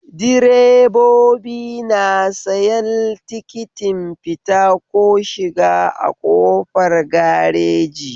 Direbobi na sayan tikitin fita ko shiga a kofar gareji